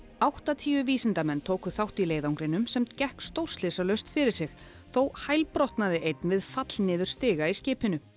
áttatíu vísindamenn tóku þátt í leiðangrinum sem gekk stórslysalaust fyrir sig þó einn við fall niður stiga í skipinu